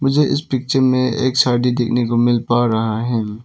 मुझे इस पिक्चर में एक छड़ी देखने को मिल पा रहा है।